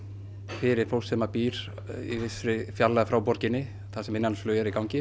fyrir fólk sem að býr í vissri fjarlægð frá borginni þar sem innanlandsflug er í gangi